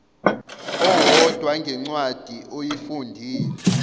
owodwa ngencwadi oyifundile